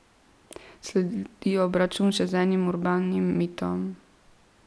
Sledi obračun še z enim urbanim mitom.